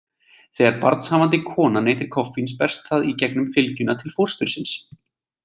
Þegar barnshafandi kona neytir koffíns berst það í gegnum fylgjuna til fóstursins.